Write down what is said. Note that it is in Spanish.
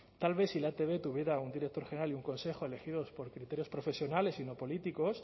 tal vez si la etb tuviera un director general y un consejo elegidos por criterios profesionales y no políticos